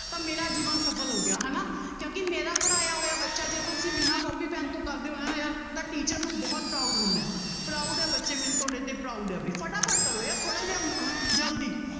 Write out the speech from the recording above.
ਤਾਂ ਮੇਰਾ ਜੀਵਨ ਸਫ਼ਲ ਹੋ ਗਿਆ ਹਨਾ ਕਿਉਂਕਿ ਮੇਰਾ ਪੜ੍ਹਾਇਆ ਹੋਇਆ ਬੱਚਾ ਜੇ ਤੁਸੀਂ ਬਿਨਾਂ ਕੋਪੀ ਪਿੰਨ ਤੋਂ ਕਰਦੇ ਹੋ ਨਾ ਯਾਰ ਤਾਂ teacher ਨੂੰ ਬਹੁਤ proud ਹੁੰਦਾ ਹੈ proud ਹੈ ਬੱਚੇ ਮੈਨੂੰ ਤੁਹਾਡੇ ਤੇ proud ਹੈ ਬਾਈ ਫਟਾਫਟ ਕਰੋ ਯਾਰ ਥੋੜ੍ਹਾ ਜਿਹਾ ਅਹ ਜ਼ਲਦੀ